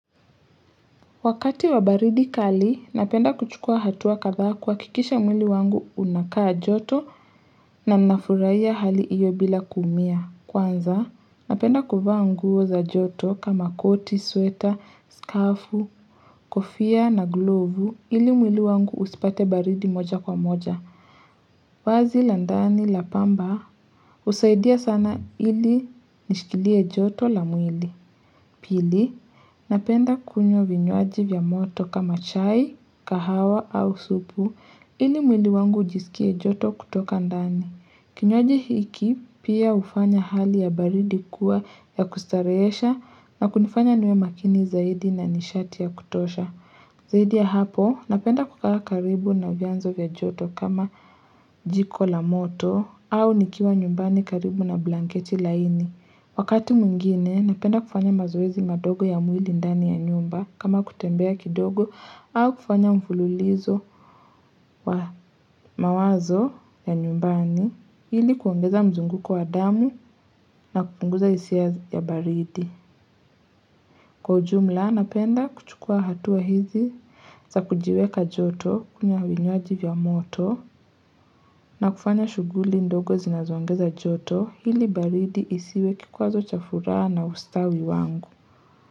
Wakati wa baridi kali, napenda kuchukua hatua kadha kuhakikisha mwili wangu unakaa joto na nafurahia hali iyo bila kuumia. Kwanza, napenda kuvaa nguo za joto kama koti, sweta, skafu, kofia na glovu ili mwili wangu usipate baridi moja kwa moja. Vazi la ndani la pamba husaidia sana ili lishikilie joto la mwili. Pili, napenda kunywa vinywaji vya moto kama chai, kahawa au supu, ili mwili wangu ujisikie joto kutoka ndani. Kinywaji hiki, pia hufanya hali ya baridi kuwa ya kustarehesha na kunifanya niwe makini zaidi na nishati ya kutosha. Zaidi ya hapo, napenda kukaa karibu na vianzo vya joto kama jiko la moto au nikiwa nyumbani karibu na blanketi laini. Wakati mwingine, napenda kufanya mazoezi madogo ya mwili ndani ya nyumba kama kutembea kidogo au kufanya mfululizo wa mawazo ya nyumbani ili kuongeza mzunguko wa damu na kupunguza hisia ya baridi. Kwa ujumla, napenda kuchukua hatua hizi za kujiweka joto kunywa vinywaji vya moto na kufanya shughuli ndogo zinazoongeza joto ili baridi isiwe kikwazo cha furaha na ustawi wangu.